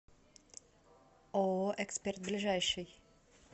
ооо эксперт ближайший